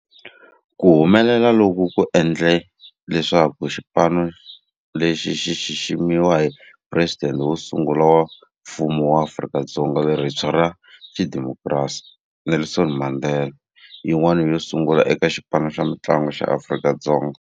Ku humelela loku ku endle leswaku xipano lexi xi xiximiwa hi Presidente wo sungula wa Mfumo wa Afrika-Dzonga lerintshwa ra xidemokirasi, Nelson Mandela, yin'wana yo sungula eka xipano xa mintlangu xa Afrika-Dzonga.